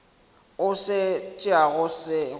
o se tšeago se go